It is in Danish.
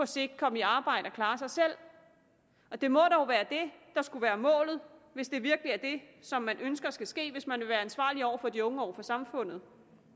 sigt komme i arbejde og klare sig selv det må dog være det der skulle være målet hvis det virkelig er det som man ønsker skal ske hvis man vil være ansvarlig over for de unge og over for samfundet